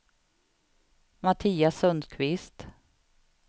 Mattias Sundqvist